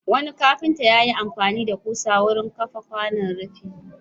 Wani kafinta ya yi amfani da ƙusa wurin kafa kwanan rufi.